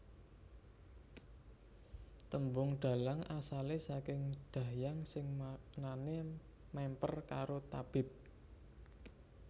Tembung dhalang asale saking Dahyang sing maknane mèmper karo tabib